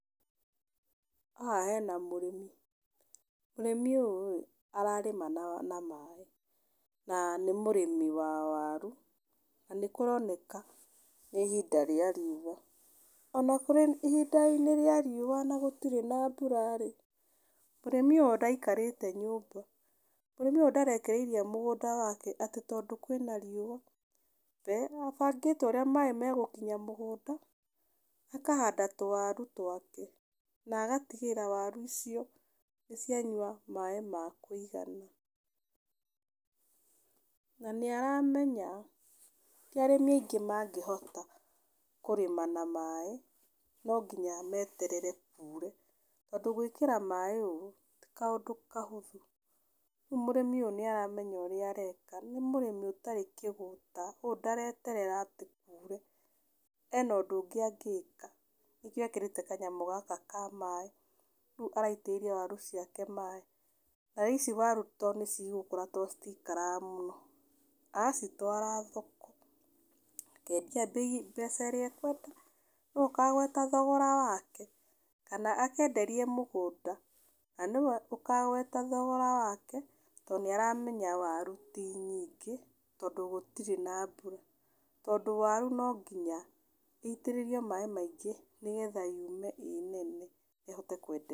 Haha hena mũrĩmi. Mũrĩmi ũyũ ĩĩ, ararĩma na maĩ. Na nĩ mũrĩmi wa waru, na nĩ kũroneka nĩ ihinda rĩa rĩua. Ona kũrĩ ihinda-inĩ rĩa riũa na gũtirĩ na mbura rĩ, mũrĩmi ũyũ ndaikarĩte nyũmba, mũrĩmi ũyũ ndarekereirie mũgũnda wake atĩ tondũ kwĩna riũa. We abangĩte ũrĩa maĩ megũkinya mũgũnda, akahanda tũwaru twake na agatigĩrĩra waru icio, nĩ cianyua maĩ ma kũigana. Na nĩ aramenya ti arĩmi aingĩ mangĩhota kũrĩma na maĩ, no nginya meterere kuure tondũ gwĩkĩra maĩ ũũ, ti kaũndũ kahũthũ. Rĩu mũrĩmi ũyũ nĩ aramenya ũrĩa areka, nĩ mũrĩmi ũtarĩ kĩgũta kũguo ndareterera atĩ mbura yure, ena ũndũ ũngĩ angĩka nĩkĩo ekĩrĩte kanyamũ gaka ka maĩ, rĩu araitĩrĩria waru ciake maĩ. Na ici waru to nĩ cigũkũra to citikaraga mũno. Acitwara thoko, mbeca ĩrĩa ekwenda nĩwe ũkagweta thogora wake, kana akenderie mũgũnda na nĩwe ũkagweta thogora wake, to nĩ aramenya waru ti nyingĩ, tondũ gũtirĩ na mbura. Tondũ waru no nginya ĩitĩrĩrio maĩ maingĩ nĩgetha yume ĩĩ nene ĩhote kwendeka.